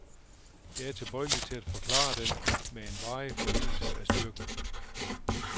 Jeg er tilbøjelig til at forklare det med en varig forøgelse af styrken.